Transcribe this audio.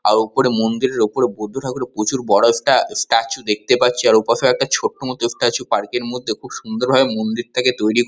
আর ওপরে মন্দিরের ওপরে বৌদ্ধ ঠাকুরের প্রচুর বড় একটা স্ট্যা স্ট্যাচু দেখতে পাচ্ছি আর ওপাশে একটা ছোট্ট মত স্ট্যাচু পার্ক -এর মধ্যে খুব সুন্দর ভাবে মন্দির থেকে তৈরি--